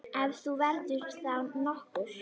Ef hún verður þá nokkur.